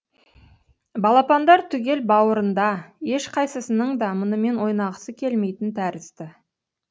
балапандар түгел бауырында ешқайсысының да мұнымен ойнағысы келмейтін тәрізді